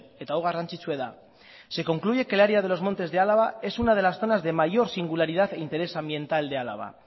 eta hau garrantzitsua da se concluye que el área de los montes de álava es una de las zonas de mayor singularidad e interés ambiental de álava